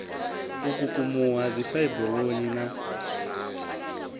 u kukumuwa ha dzifaiburoni na